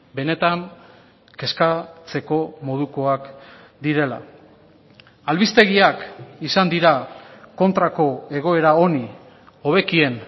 benetan kezkatzeko modukoak direla albistegiak izan dira kontrako egoera honi hobekien